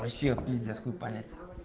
вообще вот пиздец хуй понять